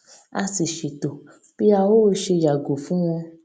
a sì ṣètò bí a ó ṣe yàgò fún wọn